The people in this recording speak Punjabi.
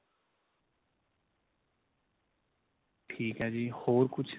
ਠੀਕ ਏ ਜੀ ਹੋਰ ਕੁੱਝ